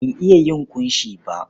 Ban iya yin ƙunshi ba.